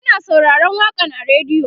Muna sauraron waƙan a radio